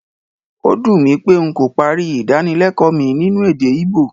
Ó dùn mí pé n kò parí Ìdánilẹ́kọ̀ọ́ mi nínú èdè Ìgbò